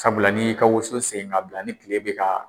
Sabula ni y'i ka woso seni k'a bila ni tile bɛ ka